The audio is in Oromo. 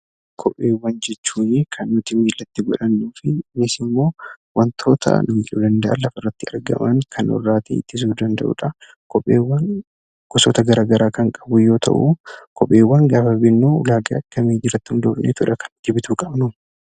Kopheewwan jechuun kan nuti miilatti godhannu; akkasumas immoo wantoota nu miidhuu danda'an lafa irratti argaman kan nu irraati ittisuu danda'udha. Kopheewwan gosoota gara garaa kan qabu yoo ta'u, kopheewwan gaafa binnu ulaagaa akkamii irratti hundoofnee bituu qabna?